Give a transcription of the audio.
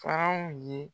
Faran ye